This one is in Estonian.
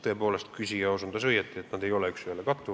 Tõepoolest, küsija osutas õigesti: üks ühele need ei kattu.